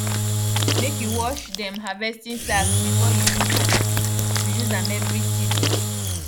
make you wash dem harvesting sacks before you use am you use am every season